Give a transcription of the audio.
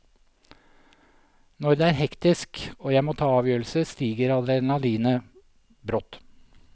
Når det er hektisk, og jeg må ta avgjørelser, stiger adrenalinet brått.